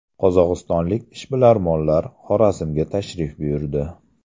Qozog‘istonlik ishbilarmonlar Xorazmga tashrif buyurdi.